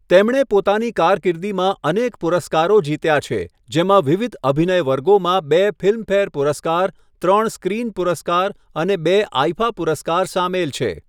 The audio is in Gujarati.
તેમણે પોતાની કારકિર્દીમાં અનેક પુરસ્કારો જીત્યા છે, જેમાં વિવિધ અભિનય વર્ગોમાં બે ફિલ્મફેર પુરસ્કાર, ત્રણ સ્ક્રીન પુરસ્કાર અને બે આઈફા પુરસ્કાર સામેલ છે.